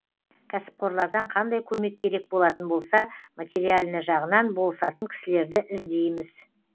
кәсіпқорлардан қандай көмек керек болатын болса материально жағынан болысатын кісілерді іздейміз